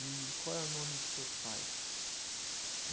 E qual é o nome dos seus pais?